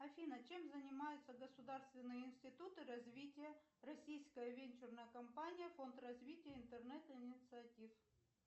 афина чем занимаются государственные институты развития российская венчурная компания фонд развития интернет инициатив